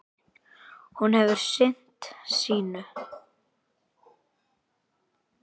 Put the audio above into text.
Hún hefur sinnt sínu.